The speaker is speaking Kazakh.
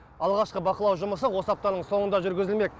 алғашқы бақылау жұмысы осы аптаның соңында жүргізілмек